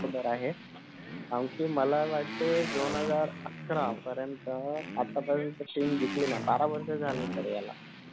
बार आहे आणखी मला वाटतय दोन हजार अकरा पर्यंत आता पर्यंत तशे दिसेना बारा पर्यंत झालं त्याला